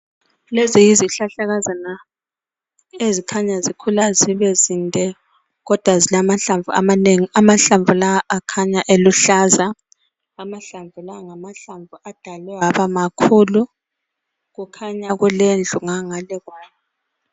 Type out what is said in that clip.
Lezi yizihlahlakazana ezikhanya zikhula zibe zinde kodwa zilamahlamvu amanengi amahlamvu lawa akhanya eluhlaza amahlamvu lawa ngamahlamvu adalwe aba makhulu kukhanya kulendlu ngangale kwawo.